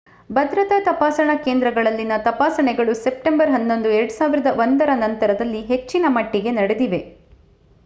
ಭದ್ರತಾ ತಪಾಸಣಾ ಕೇಂದ್ರಗಳಲ್ಲಿನ ತಪಾಸಣೆಗಳು ಸೆಪ್ಟೆಂಬರ್ 11 2001ರ ನಂತರದಲ್ಲಿ ಹೆಚ್ಚಿನ ಮಟ್ಟಿಗೆ ನಡೆದಿವೆ